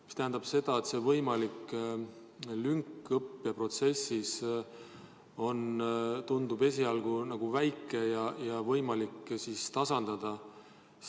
See tähendab seda, et võimalik lünk õppeprotsessis tundub esialgu väike ja seda on võimalik tasandada.